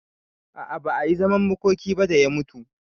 A'a ba ayi zaman makoki ba da ya mutu